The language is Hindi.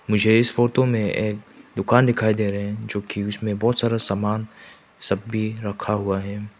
मुझे इस फोटो में एक दुकान दिखाई दे रहे हैं जोकि उसमें बहुत सारा सामान सब भी रखा हुआ है।